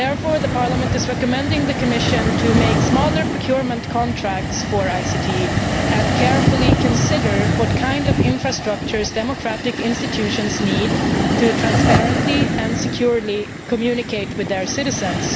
Therefore, Parliament is recommending that the Commission make smaller procurement contracts for ICT and carefully consider what kind of infrastructures democratic institutions need in order to transparently and securely communicate with their citizens.